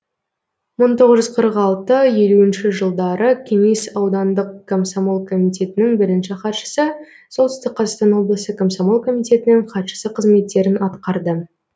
мың тоғыз жүз қырық алты елуінші жылы кеңес аудандық комсомол комитетінің бірінші хатшысы солтүстік қазақстан облысы комсомол комитетінің хатшысы қызметтерін атқарды